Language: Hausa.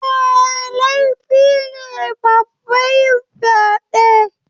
Eh, laifi ne babba yin fyade6